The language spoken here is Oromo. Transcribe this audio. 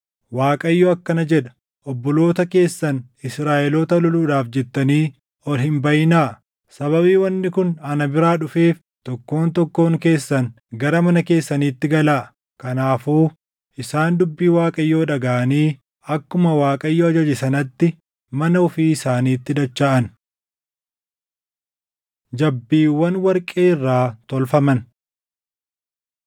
‘ Waaqayyo akkana jedha; obboloota keessan Israaʼeloota loluudhaaf jettanii ol hin baʼinaa. Sababii wanni kun ana biraa dhufeef tokkoon tokkoon keessan gara mana keessaniitti galaa.’ ” Kanaafuu isaan dubbii Waaqayyoo dhagaʼanii akkuma Waaqayyo ajaje sanatti mana ofii isaaniitti dachaʼan. Jabbiiwwan Warqee Irraa Tolfaman